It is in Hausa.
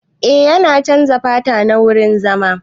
Eh na chanza fata na wurin zama.